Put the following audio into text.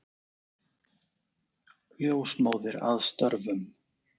Ljósmóðir að störfum.